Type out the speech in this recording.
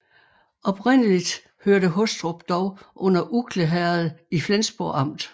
Oprindeligt hørte Hostrup dog under Ugle Herred i Flensborg Amt